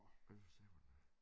Fy for søren da